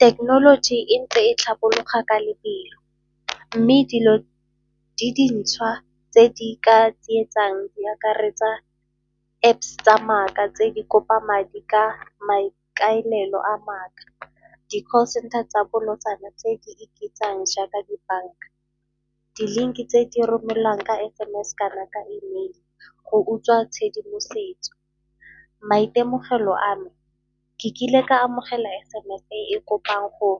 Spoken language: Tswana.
Thekenoloji e ntle e tlhabologa ka lebelo mme dilo di dintšhwa tse di ka tsietsang di akaretsa tsa maaka tse di kopa madi ka maikaelelo a maaka. Di-call centre tsa bolotsana tse di ibitsang jaaka dibanka, di-link-e tse di romelwang ka S_M_S-e kana ka e-mail-e go utswa tshedimosetso. Maitemogelo a me, ke kile ka amogela S_M_S-e e kopang go